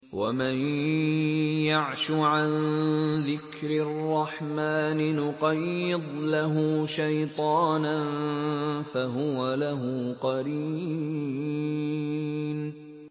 وَمَن يَعْشُ عَن ذِكْرِ الرَّحْمَٰنِ نُقَيِّضْ لَهُ شَيْطَانًا فَهُوَ لَهُ قَرِينٌ